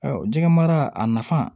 Jɛgɛ mara a nafa